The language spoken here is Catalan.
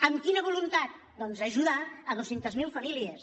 amb quina voluntat doncs ajudar dos cents miler famílies